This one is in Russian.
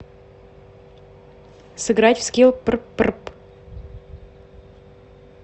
сыграть в скилл прпрп